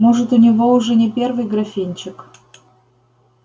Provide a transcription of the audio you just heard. может у него уже не первый графинчик